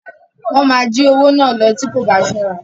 Wọ́n máa jí owó náà lọ tí o kò bá ṣọ́ra.